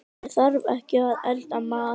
Ég þarf ekki að elda mat.